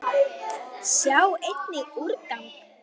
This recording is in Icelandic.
Sjá einnig: úrgang